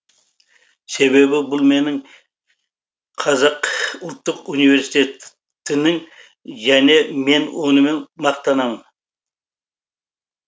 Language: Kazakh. себебі бұл менің қазақ ұлттық университетінің және мен онымен мақтанамын